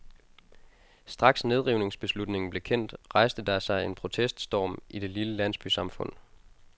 Straks nedrivningsbeslutningen blev kendt, rejste der sig en proteststorm i det lille landsbysamfund.